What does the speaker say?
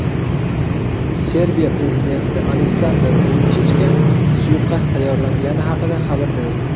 Serbiya prezidenti Aleksandr Vuchichga suiqasd tayyorlangani haqida xabar berildi.